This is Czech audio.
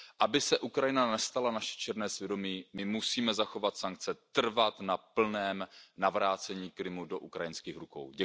Aby se Ukrajina nestala naše černé svědomí, my musíme zachovat sankce, trvat na plném navrácení Krymu do ukrajinských rukou.